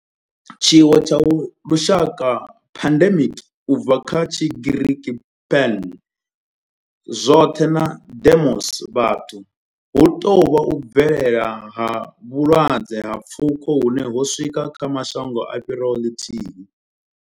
Tshiwo tsha lushaka pandemic, u bva kha Tshigiriki pan, zwoṱhe na demos, vhathu hu tou vha u bvelela ha vhulwadze ha pfuko hune ho swika kha mashango a fhiraho ḽithihi.